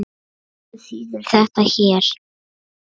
Hvað þýðir þetta hér?